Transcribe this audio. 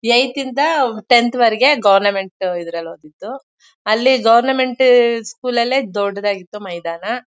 Eighth ಇಂದ tenth ವರಗೆ government ಇದ್ರಲ್ಲೆ ಓದಿದ್ದು ಅಲ್ಲಿ ಗೋವರ್ನಮೆಂಟ್ ಸ್ಕೂಲ್ ಅಲ್ಲೇ ದೊಡ್ಡದಾಗಿತ್ತು ಮೈದಾನ.